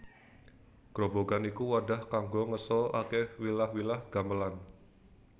Grobogan iku wadah kanggo ngeso ake wilah wilah gamelan